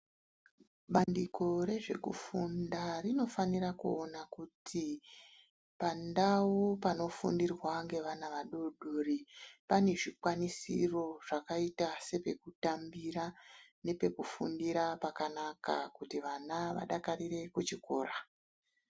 Bandiko rezvekufunda rinofanira kuona kuti pandau panofundirwa ngevana vadodori pane zvikwanisiro zvakaita sepekutambira nepekufundira pakanaka kuti vana vadakarire kuchikora.